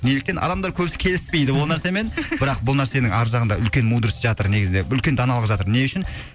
неліктен адамдар көбісі келіспейді ол нәрсемен бірақ бұл нәрсенің ар жағында үлкен мудрость жатыр негізінде үлкен даналық жатыр не үшін